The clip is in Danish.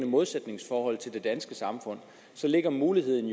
modsætningsforhold til den danske samfund ligger mulighederne